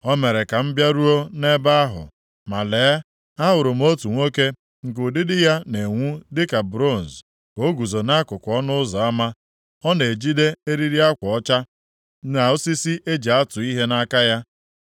O mere ka m bịaruo nʼebe ahụ, ma lee, ahụrụ m otu nwoke nke ụdịdị ya na-enwu dịka bronz ka o guzo nʼakụkụ ọnụ ụzọ ama. Ọ na-ejide eriri akwa ọcha, na osisi e ji atụ ihe nʼaka ya.